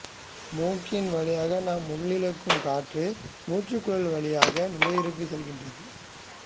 மூக்கின் வழியாக நாம் உள்ளிழுக்கும் காற்று மூச்சுக்குழாய் வழியாக நுரையீரலுக்கு செல்கிறது